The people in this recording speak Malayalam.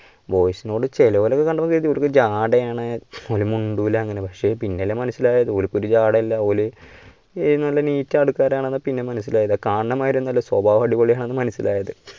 boys നോട് ചെലോലെ ഒക്കെ കണ്ടപ്പം തോന്നി ഇവർക്ക് ജാഡയാണ് ഓലു മുണ്ടുല അങ്ങനെ പക്ഷേ പിന്നല്ലേ മനസിലായത് ഓൽക്ക് ഒരു ജാഡയും ഇല്ല ഓല് നല്ല neat ആൾക്കാരാണ് പിന്നെ മനസ്സിലായത് കണുന്ന മാതിരി ഒന്നും അല്ലാ സ്വഭാവം അടിപൊളിയാണെന്ന് മനസ്സിലായത്.